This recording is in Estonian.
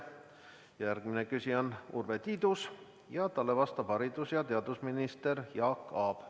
Järgmine küsija on Urve Tiidus, talle vastab haridus- ja teadusminister Jaak Aab.